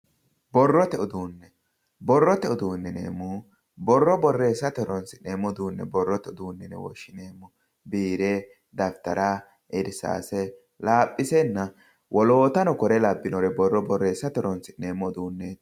Borrote uduune, borrote uduune yineemmohu borro borreessate horonsi'neemmo uduune borrote uduune yinne woshshineemmo, biire Dafittara, irsase ,laphisena woloottanano kuri labbinore borro borreesite horonsi'neemmo uduuneti.